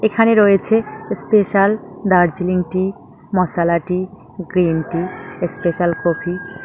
এখানে রয়েছে special Darjeeling tea masala tea green tea special coffee.